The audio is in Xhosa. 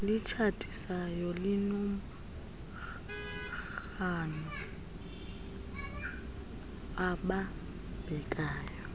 litshatisayo linomrhano obambekayo